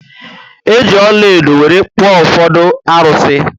Eji ọlaedo were kpuo ufodu arusi